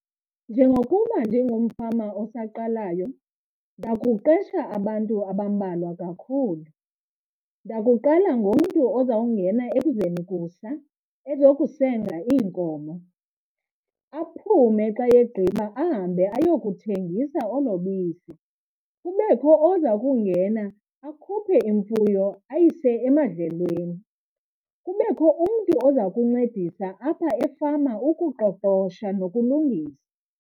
Njengokuba ndingumfama osaqalayo ndakuqesha abantu abambalwa kakhulu. Ndakuqala ngomntu ozawungena ekuzeni kusa ezokusenga iinkomo, aphume xa egqiba ahambe ayokuthengisa olo bisi. Kubekho oza kungena akhuphe imfuyo ayise emadlelweni, kubekho umntu oza kuncedisa apha efama ukuqoqosho nokulungisa.